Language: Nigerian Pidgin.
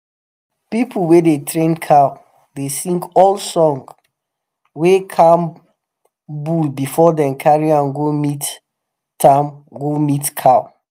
people wey dey train cow dey sing old song wey calm bull before dem carry am go meet am go meet cow.